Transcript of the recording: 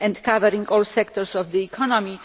covering all sectors of the economy.